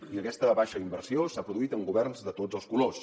i aquesta baixa inversió s’ha produït amb governs de tots els colors